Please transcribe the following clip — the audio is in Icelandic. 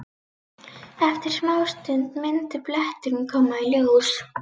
Eftir smástund myndi bletturinn koma í ljós.